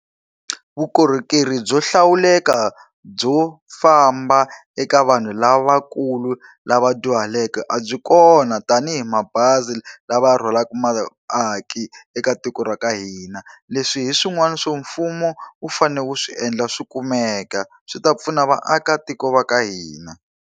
Vukorhokeri byo hlawuleka byo famba eka vanhu lavakulu lava dyuhaleke a byi kona tanihi mabazi lava rhwalaka vaaki eka tiko ra ka hina. Leswi hi swin'wana swo mfumo wu fanele wu swi endla swi kumeka, swi ta pfuna vaakatiko va ka hina.